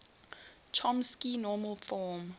chomsky normal form